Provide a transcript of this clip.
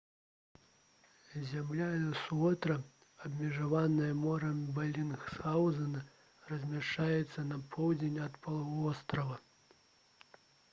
зямля элсуорта абмежаваная морам белінсгаўзена размяшчаецца на поўдзень ад паўвострава